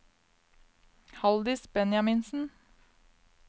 Haldis Benjaminsen